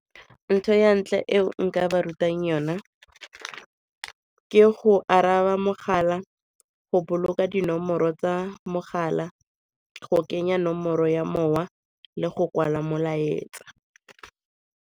Ntho ya ntlha e nka ba rutang yona ke go araba mogala, go boloka dinomoro tsa mogala, go kenya nomoro ya mowa le go kwala molaetsa.